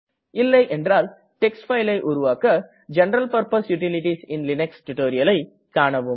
இல்லை என்றால் டெக்ஸ்ட் fileஐ உருவாக general purpose utilities in Linux tutorialஐ கானவும்